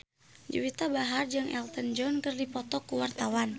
Juwita Bahar jeung Elton John keur dipoto ku wartawan